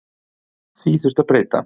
Því þurfi að breyta.